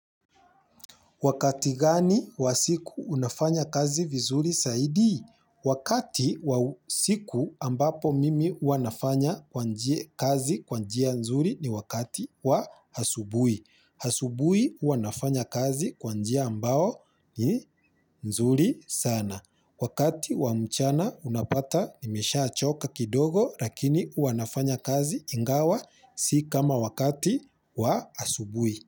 Wakati gani wa siku unafanya kazi vizuri zaidi? Wakati wa usiku ambapo mimi huwa nafanya kwa njia kazi kwa njia nzuri ni wakati wa asubuhi. Asubuhi huwa nafanya kazi kwa njia ambao ni nzuri sana. Wakati wa mchana unapata nimeshaa choka kidogo lakini huwa nafanya kazi ingawa si kama wakati wa asubuhi.